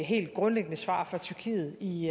helt grundlæggende svar fra tyrkiet i